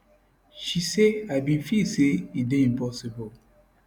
she say i bin feel say e dey impossible